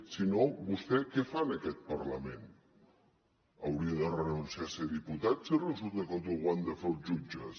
si no vostè què fa en aquest parlament hauria de renunciar a ser diputat si resulta que tot ho han de fer els jutges